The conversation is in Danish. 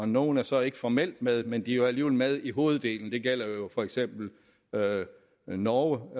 nogle er så ikke formelt med men de er jo alligevel med i hoveddelen det gælder for eksempel norge